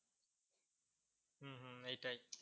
হম এটাই।